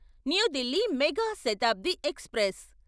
new Delhi Moga Shatabdi express